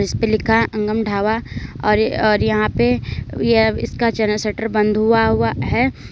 ये लिखा है अंगम ढाबा और और यहां पे ये इसका चैनल शटर बंद हुआ हुआ है।